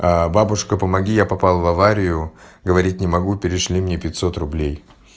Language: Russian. а бабушка помоги я попал в аварию говорить не могу перешли мне пятьсот рублей